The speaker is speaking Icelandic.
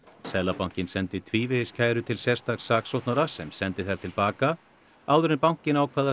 seðlabankinn sendi tvívegis kæru til sérstaks saksóknara sem sendi þær til baka áður en bankinn ákvað að